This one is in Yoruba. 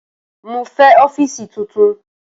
Mo fẹ ọfiisi tuntun!